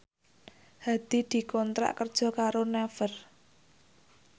Hadi dikontrak kerja karo Naver